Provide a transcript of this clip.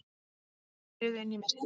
Þær skriðu inn í myrkrið.